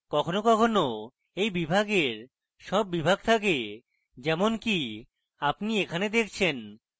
কখনও কখনও এই বিভাগের sub বিভাগ থাকে যেমনকি আপনি এখানে দেখছেন